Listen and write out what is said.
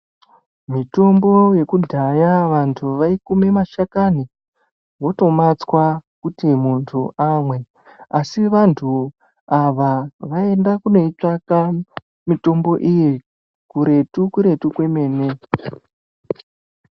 Mitombo yekudhaya vanthu vaikume mashakani votomatswa kuti muntu amwe, asi vantu ava vaienda kunoitsvaka mitombo iyi kuretu-kuretu kwemene.